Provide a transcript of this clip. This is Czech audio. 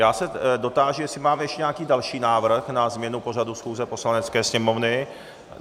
Já se dotáži, jestli máme ještě nějaký další návrh na změnu pořadu schůze Poslanecké sněmovny.